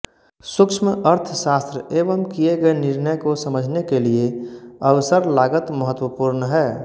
सुक्ष्मअर्थशास्त्र एवं किये गए निर्णय को समझने के लिए अवसर लागत महत्वपूर्ण है